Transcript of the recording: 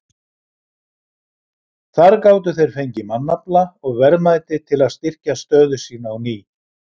Þar gátu þeir fengið mannafla og verðmæti til að styrkja stöðu sína á ný.